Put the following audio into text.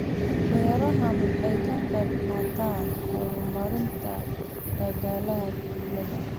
Beerahani waxa ay ka qayb qaataan horumarinta dhaqaalaha tuulada.